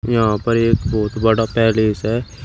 यहां पर एक बहोत बड़ा पैलेस है।